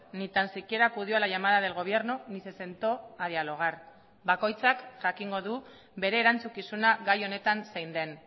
ni tan siquiera acudió a la llamada del gobierno ni se sentó a dialogar bakoitzak jakingo du bere erantzukizuna gai honetan zein den